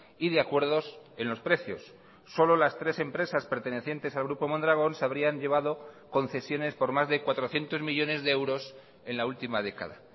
y de acuerdos en los precios solo las tres empresas pertenecientes al grupo mondragón se habrían llevado concesiones por más de cuatrocientos millónes de euros en la última década